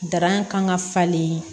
Darakan ka falen